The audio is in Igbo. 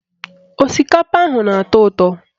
Osikapa ahụ na-atọ ụtọ